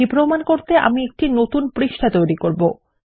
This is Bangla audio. এটি প্রমান করতে আমি একটি নতুন পৃষ্ঠা তৈরী করব